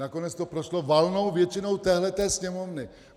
Nakonec to prošlo valnou většinou téhle Sněmovny.